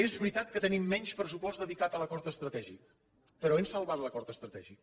és veritat que tenim menys pressupost dedicat a l’acord estratègic però hem salvat l’acord estratègic